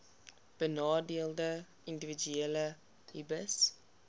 benadeelde individue hbis